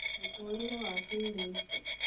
mũtũrĩre wa kĩĩrĩu